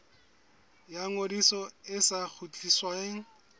ya ngodiso e sa kgutlisweng